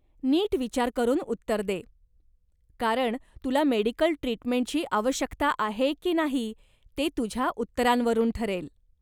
नीट विचार करून उत्तर दे, कारण तुला मेडीकल ट्रीटमेंटची आवश्यकता आहे की नाही ते तुझ्या उत्तरांवरून ठरेल.